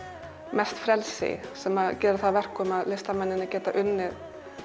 mest frelsi sem gerir það að verkum að listamenn geta unnið